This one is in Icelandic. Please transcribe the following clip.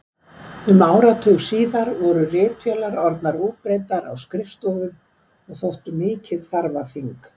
Um áratug síðar voru ritvélar orðnar útbreiddar á skrifstofum og þóttu mikið þarfaþing.